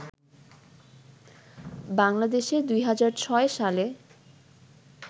বাংলাদেশে ২০০৬ সালে